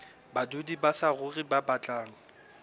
badudi ba saruri ba batlang